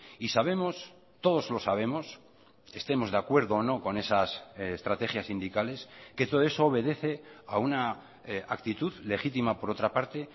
y sabemos todos lo sabemos estemos de acuerdo o no con esas estrategias sindicales que todo eso obedece a una actitud legítima por otra parte